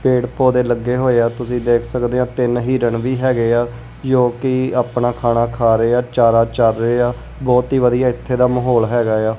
ਪੇੜ ਪੋਧੇ ਲੱਗੇ ਹੋਏ ਆ ਤੁਸੀਂ ਦੇਖ ਸਕਦੇ ਔ ਤਿੰਨ ਹਿਰਣ ਵੀ ਹੈਗੇ ਆ ਜੋ ਕਿ ਆਪਣਾ ਖਾਣਾ ਖਾ ਰਹੇ ਆ ਚਾਰਾ ਚਰ ਰਹੇ ਆ ਬਹੁਤ ਹੀ ਵਧੀਆ ਇੱਥੇ ਦਾ ਮਾਹੌਲ ਹੈਗਾ ਏ ਆ।